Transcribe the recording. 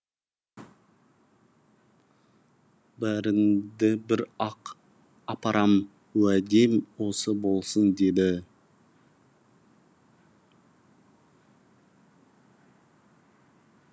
бәріңді бір ақ апарам уәдем осы болсын деді